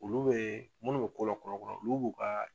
Olu bɛ munnu bɛ ko lakura kuraya olu b'u ka